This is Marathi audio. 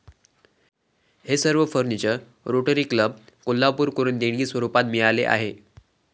हे सर्व फर्निचर रोटरी क्लब, कोल्हापूरकडून देणगीस्वरुपात मिळाले आहे.